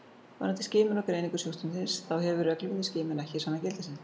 Varðandi skimun og greiningu sjúkdómsins þá hefur reglubundin skimun ekki sannað gildi sitt.